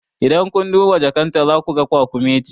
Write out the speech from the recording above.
In kun duba jakan ta za ku ga kwakumeti